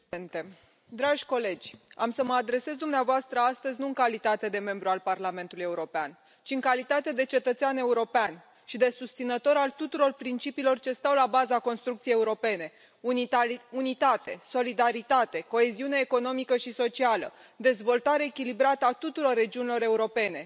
Domnule președinte, dragi colegi, am să mă adresez dumneavoastră astăzi nu în calitate de membru al Parlamentului European, ci în calitate de cetățean european și de susținător al tuturor principiilor ce stau la baza construcției europene unitate, solidaritate, coeziune economică și socială, dezvoltare echilibrată a tuturor regiunilor europene.